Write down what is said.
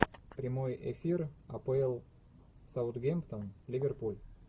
прямой эфир апл саутгемптон ливерпуль